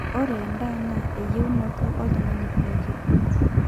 ore endaa naa eyieunoto oltung'ani pooki